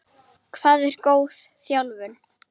Hvað er góð þjálfun?